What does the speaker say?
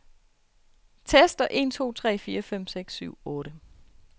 Tester en to tre fire fem seks syv otte.